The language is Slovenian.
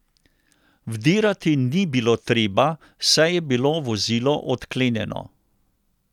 Vdirati ni bilo treba, saj je bilo vozilo odklenjeno.